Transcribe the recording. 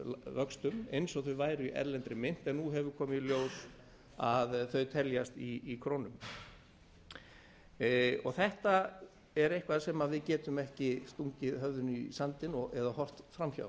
vöxtum eins og þau væru í erlendri mynt en nú hefur komið í ljós að þau teljast í krónum þetta er eitthvað sem við getum ekki stungið höfðinu í sandinn eða horft fram hjá